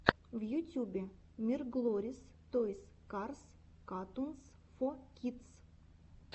в ютюбе мирглори тойс карс катунс фо кидс